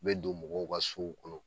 bɛ don mɔgɔw ka sow kɔnɔ